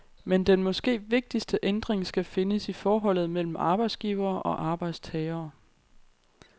Men den måske vigtigste ændring skal findes i forholdet mellem arbejdsgivere og arbejdstagere.